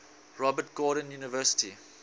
robert gordon university